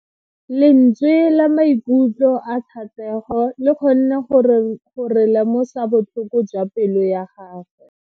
Lentswe la maikutlo a Thatego le kgonne gore re lemosa botlhoko jwa pelo ya gagwe.